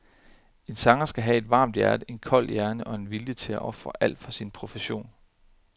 En sanger skal have et varmt hjerte, en kold hjerne og vilje til at ofre alt for sin profession.